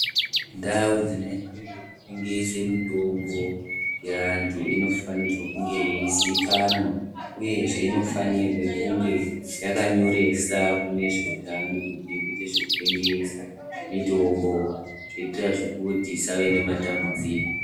Ndau dzinoitwe zvekutengese mitombo yeantu inofanirwe yeizikanwa uyezve unofanirwe kunge yakanyoresa kune vezveutano kuti irikuite zvekutengesa mitombo kuitira kuti zvisave nematambudziko.